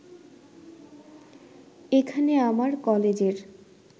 এখানে আমার কলেজের